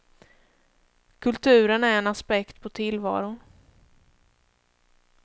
Kulturen är en aspekt på tillvaron.